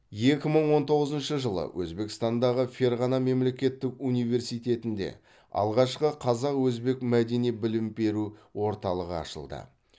екі мың он тоғызыншы жылы өзбекстандағы ферғана мемлекеттік университетінде алғашқы қазақ өзбек мәдени білім беру орталығы ашылды